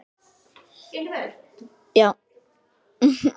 Og þurfti vart að spyrja.